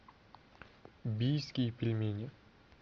бийские пельмени